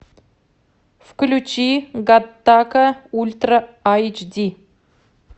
включи гаттака ультра айч ди